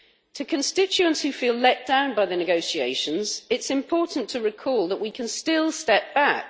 To constituents who feel let down by the negotiations, it is important to recall that we can still step back.